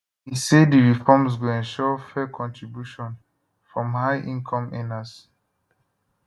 e say di reforms go ensure fair contribution from high income earners